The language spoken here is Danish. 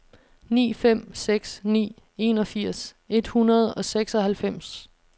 ni fem seks ni enogfirs et hundrede og seksoghalvfems